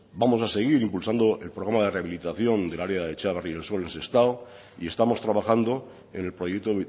vamos a seguir impulsando el programa de rehabilitación del área de txabarri y el sol de sestao y estamos trabajando en el proyecto